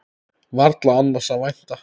Varla annars að vænta.